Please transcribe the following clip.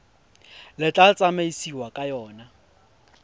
le tla tsamaisiwang ka yona